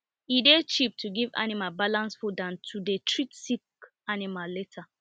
e dey cheap to give animal balanced food than to dey treat sick animal later